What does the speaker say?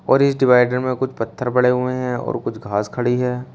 और इस डिवाइगर में कुछ पत्थर पड़े हुए हैं और कुछ घास खड़ी है।